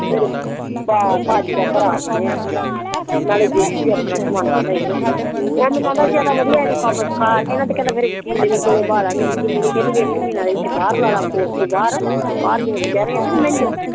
ਤੇਰੇ ਪਾਜੀ ਦਾ ਭਰਾ ਬਣਿਆ ਨਾਲੇ ਗੋਤੀ ਆਪਣਾ ਓ ਮੈਂਨੂੰ ਕਿਹੰਦਾ ਸੀ ਇੱਨੁ ਵਧੀਆ ਕੰਮ ਸਿਖਾਂ ਕੇ ਨਾ ਤੇ ਕਿਹੰਦਾ ਨਾਲੇ ਵਕੀਲਣੀ ਕੋਲ ਬਿਠਾ ਦਵਾਂਗੇ ਵਕੀਲਣੀ ਕਿਹੰਦੀ ਇੱਕ ਮਹੀਨਾ ਇੱਥੇ ਬਾਹਰ ਲਾ ਲਾ ਇੱਥੇ ਕੋਰਟ ਦੇ ਬਾਹਰ ਬਾਹਰ ਜਿਵੇਂ ਕਚੇਰਿਆ ਚ ਨਹੀਂ ਬੇਹਨਦੇ